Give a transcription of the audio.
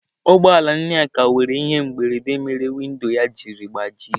Ụgbọ ala Nneka nwere ihe mberede mere windo ya jiri gbajie.